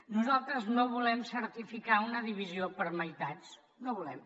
nosaltres no volem certificar una divisió per meitats no ho volem